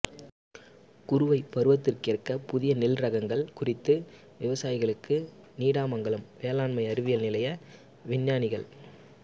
குறுவை பருவத்துக்கேற்ற புதிய நெல் ரகங்கள் குறித்து விவசாயிகளுக்கு நீடாமங்கலம் வேளாண்மை அறிவியல் நிலைய விஞ்ஞானிகள்